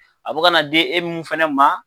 A be ka na di e mun fɛnɛ ma